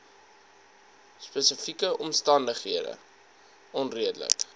spesifieke omstandighede onredelik